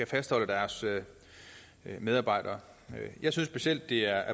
fastholde deres medarbejdere jeg synes specielt det er